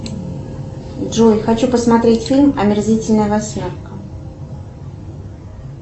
джой хочу посмотреть фильм омерзительная восьмерка